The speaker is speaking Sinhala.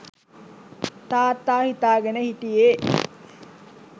තාත්තා හිතාගෙන හිටියෙ